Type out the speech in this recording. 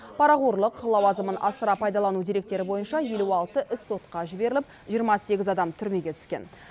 парақорлық лауазымын асыра пайдалану деректері бойынша елу алты іс сотқа жіберіліп жиырма сегіз адам түрмеге түскен